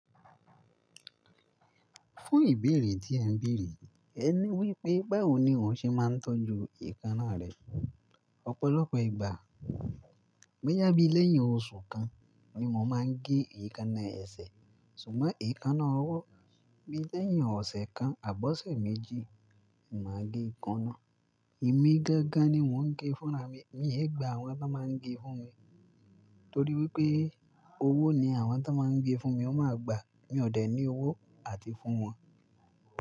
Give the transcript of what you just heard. Fún ìbéèrè tí ẹ ń béèrè, ẹ ní wípé báwo ni òun ṣe máa ń tọ́jú èékánná rẹ̀. Ọ̀pọ̀lọpọ̀ ìgbà, bóyá bí lẹ́yìn oṣù kan ni mo máa ń gé èékánná ẹsẹ̀. Ṣùgbọ́n èékánná ọwọ́, bí lẹ́yìn ọ̀sẹ̀ kan àbọ̀ ọ̀sẹ̀ méjì ni màá gé ikán náà. Èmi gangan ni mo ń gé fúnra mi, mi ò yẹ gba àwọn tí wọ́n máa ń gé fún mi. Torí wípé owó ni àwọn tí wọ́n máa ń gé fún mi ó máa gbà, mi ò dẹ̀ ní owó àti fún wọn.